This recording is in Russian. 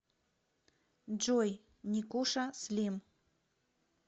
джой никуша слим